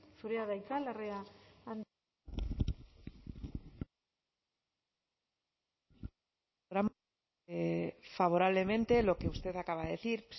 zurea da hitza larrea andrea favorablemente lo que usted acaba de decir